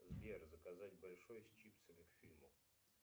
сбер заказать большой с чипсами к фильму